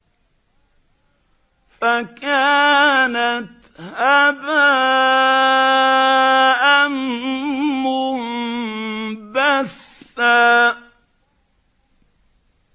فَكَانَتْ هَبَاءً مُّنبَثًّا